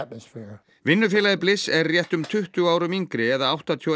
vinnufélagi er réttum tuttugu árum yngri eða áttatíu og